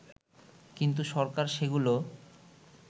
কিন্তু সরকার সেগুলো